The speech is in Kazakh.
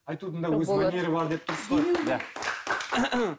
айтудың да өз өнері бар деп тұрсыз ғой иә